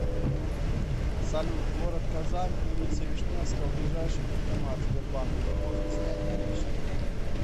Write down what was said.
салют город казань улица вишневского ближайший банкомат сбербанк где можно снять наличные